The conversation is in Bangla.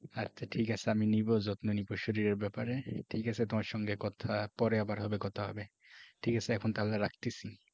আচ্ছা ঠিক আছে আমি নিব যত্ন নিব শরীরের ব্যাপারে ঠিক আছে তোমার সঙ্গে কথা পরে আবার হবে কথা হবে ঠিক আছে এখন তাহলে রাখতেছি।